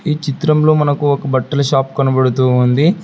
ఈ చిత్రం లో మనకు ఒక బట్టల షాప్ కనపడుతూ వుంది.